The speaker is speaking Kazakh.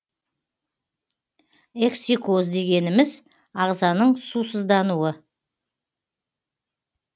эксикоз дегеніміз ағзаның сусыздануы